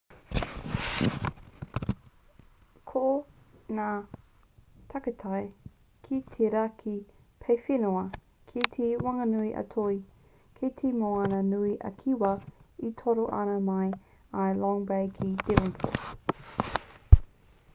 ko ngā takutai ki te raki paewhenua kei te whanganui a toi kei te moana nui a kiwa e toro ana mai i long bay ki devonport